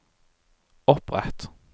opprett